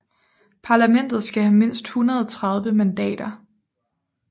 Parlamentet skal have mindst 130 mandater